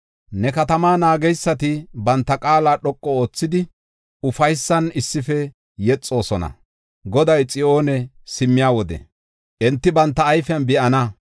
Ne katamaa naageysati banta qaala dhoqu oothidi, ufaysan issife yexoosona. Goday Xiyoone simmiya wode enti banta ayfen be7ana.